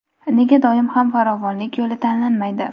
Nega doim ham farovonlik yo‘li tanlanmaydi?.